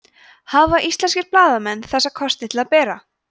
hafa íslenskir blaðamenn þessa kosti til að bera